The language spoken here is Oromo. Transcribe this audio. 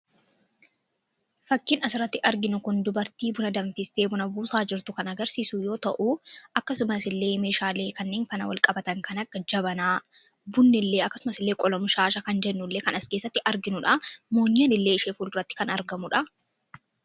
Fakkiin as irratti arginu kun dubartii buna danfistee buna buusaa jirtu kan agarsiisu yoo ta'u akkasumas illee meeshaalee kanneen fana wal qabatan kana jabanaa bunnillee akkasumasillee qolamu shaasha kan jennullee kan as keessatti arginuudha moonyaanillee ishee fulduratti kan argamudha.